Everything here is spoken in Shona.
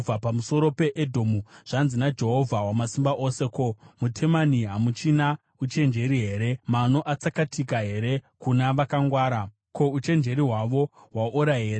Pamusoro peEdhomu: Zvanzi naJehovha Wamasimba Ose: “Ko, muTemani hamuchina uchenjeri here? Mano atsakatika here kuna vakangwara? Ko, uchenjeri hwavo hwaora here?